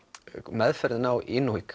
meðferðin á